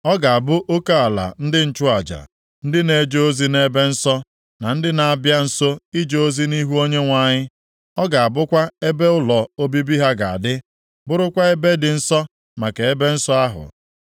Ọ ga-abụ oke ala ndị nchụaja, ndị na-eje ozi nʼebe nsọ, na ndị na-abịa nso ije ozi nʼihu Onyenwe anyị. Ọ ga-abụkwa ebe ụlọ obibi ha ga-adị, bụrụkwa ebe dị nsọ maka ebe nsọ ahụ.